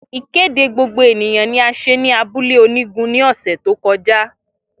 Ikede gbogbo eniyan ni a ṣe ni abule onigun ni ọsẹ to kọja.